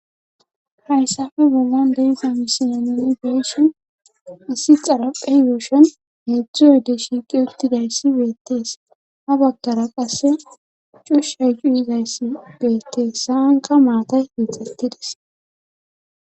hayssafe wogan debga misiyneni beysu issi xarapheygeoshon heedzdzuyde shiiqi uttidayssi beettees ha bagkara qasse cushshaycu izayssi beettees haanka maatay hiixattidis